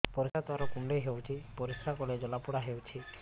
ପରିଶ୍ରା ଦ୍ୱାର କୁଣ୍ଡେଇ ହେଉଚି ପରିଶ୍ରା କଲେ ଜଳାପୋଡା ହେଉଛି